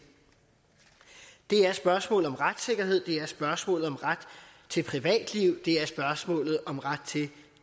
det er spørgsmålet om retssikkerhed det er spørgsmålet om ret til privatliv det er spørgsmålet om ret til